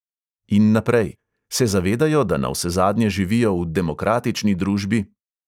In naprej: se zavedajo, da navsezadnje živijo v demokratični družbi?